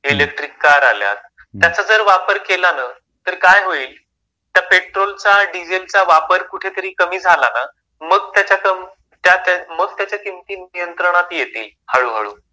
Electric car आल्यात. त्याचा जर वापर केला न तर काय होईल? तर पेट्रोलचा डिझेलचा वापर कुठेतरी कमी झाला ना, मग त्याच्या किमती नियंत्रणात येतील. हळू हळू.